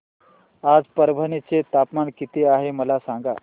आज परभणी चे तापमान किती आहे मला सांगा